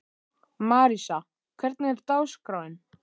Marísa, hvernig er dagskráin?